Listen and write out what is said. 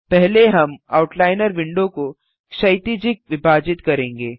पहले हम outliner window को क्षैतिजिक विभाजित करेंगे